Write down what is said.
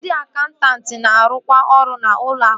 Ndị akaụntanti na-arụkwa ọrụ n'ụlọ akụ